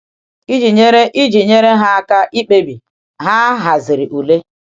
Iji nyere Iji nyere ha aka ikpebi, ha haziri ule.